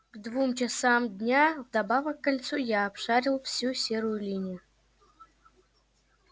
к двум часам дня вдобавок к кольцу я обшарил всю серую линию